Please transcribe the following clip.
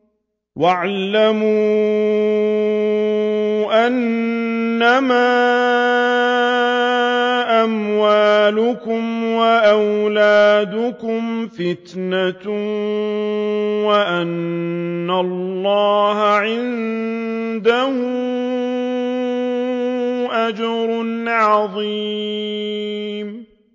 وَاعْلَمُوا أَنَّمَا أَمْوَالُكُمْ وَأَوْلَادُكُمْ فِتْنَةٌ وَأَنَّ اللَّهَ عِندَهُ أَجْرٌ عَظِيمٌ